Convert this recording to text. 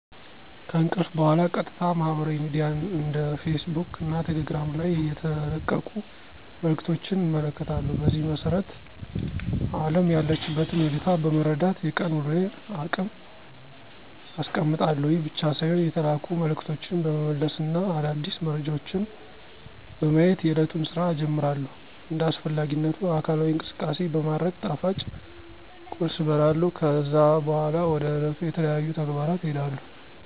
ከእንቅልፍ በኋላ ቀጥታ ማህበራዊ ሚድያ እንደ ፌስ ቡክ እና ቴሌግራም ላይ የተለቀቁ መልዕክቶችን እመለከታለሁ። በዚህም መሰረት አለም ያለችበትን ሁኔታ በመረዳት የቀን ዉሎየን እቅድ አስቀምጣለሁ። ይህ ብቻ ሳይሆን የተላኩ መልዕክቶችን በመመለስ እና አዳዲስ መረጃዎችን በማየት የእለቱን ስራ እጀምራለሁ። እንደ አስፈላጊነቱ አካላዊ እንቅስቃሴ በማድረግ ጣፋጭ ቁርስ እበላለሁ። ከዛ በኋላ ወደ ዕለቱ ተለያዩ ተግባራት እሄዳለሁ።